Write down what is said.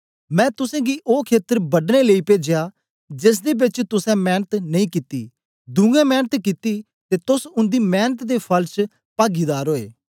मैं तुसेंगी ओ खेत्र बढने लेई पेजया जेसदे बेच तुसें मेंनत नेई कित्ती दुयें मेंनत कित्ती ते तोस उन्दी मेंनत दे फल च पागीदार ओए